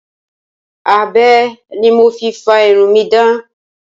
Abẹ ni mo fi fá irun mi dán.